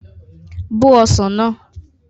Bó ọsàn náà!